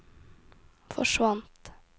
forsvant